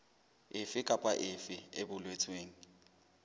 efe kapa efe e boletsweng